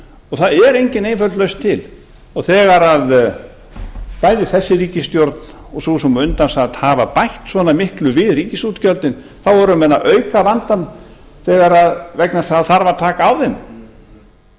og það er engin einföld lausn til og þegar bæði þessi ríkisstjórn og sú sem á undan sat hafa bætt svona miklu við ríkisútgjöldin þá eru menn að auka vandann vegna þess að það þarf að taka á þeim